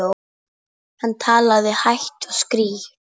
Örn, bauðstu henni í bíó?